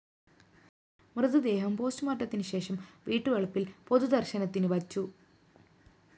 മൃതദേഹം പോസ്റ്റുമോര്‍ട്ടത്തിനു ശേഷം വീട്ടുവളപ്പില്‍ പൊതു ദര്‍ശനത്തിനു വച്ചു